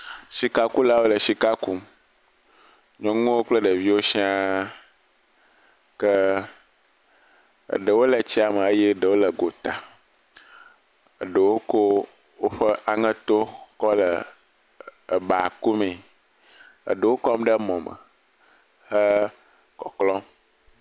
Sikakulawo le sika kum. Nyɔnuwo kple ɖeviwo sia ke eɖewo le tsia me ke eɖewo le gota. Eɖewo ko woƒe aŋeto kɔ le eba ku mee. Eɖewo kɔm ɖe emɔ me hele kɔklɔm.